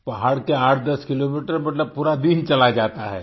के पहाड़ के 810 किलोमीटर मतलब पूरा दिन चला जाता है